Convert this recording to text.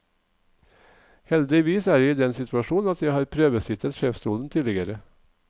Heldigvis er jeg i den situasjonen at jeg har prøvesittet sjefsstolen tidligere.